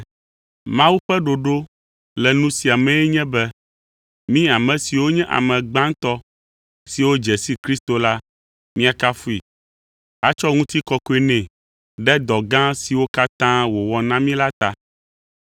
Mawu ƒe ɖoɖo le nu sia mee nye be mí ame siwo nye ame gbãtɔ siwo dze si Kristo la, míakafui, atsɔ ŋutikɔkɔe nɛ ɖe dɔ gã siwo katã wòwɔ na mí la ta.